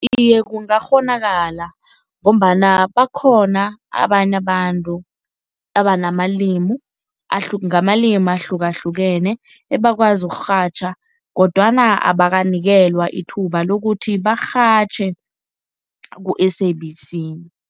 Iye, kungakghonakala ngombana bakhona abanye abantu abanamalimu ngamalimi ahlukahlukene ebakwazi ukurhatjha kodwana abakanikelwa ithuba lokuthi barhatjhe ku-S_A_B_C.